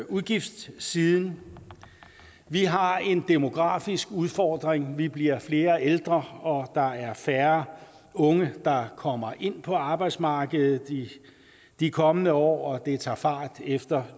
udgiftssiden vi har en demografisk udfordring vi bliver flere ældre og der er færre unge der kommer ind på arbejdsmarkedet i de kommende år og det tager fart efter